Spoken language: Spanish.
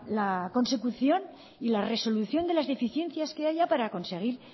la consecución y la resolución de las deficiencias que haya para conseguir